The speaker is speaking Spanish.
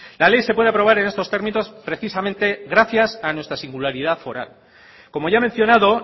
la ley se puede aprobar en estos términos precisamente gracias a nuestra singularidad foral como ya he mencionado